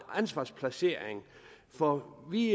ansvarsplacering for vi